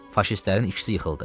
Faşistlərin ikisi yıxıldı.